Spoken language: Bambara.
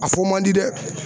A fɔ man di dɛ.